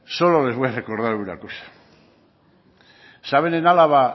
solo les voy a recordar una cosa saben en álava